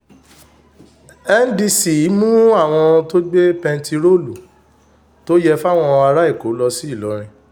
nd cc mú àwọn tó gbé bẹntiróòlù tó yẹ fáwọn ará èkó lọ sí ìlọrin